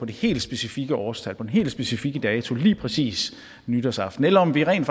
det helt specifikke årstal på den helt specifikke dato lige præcis nytårsaften eller om vi rent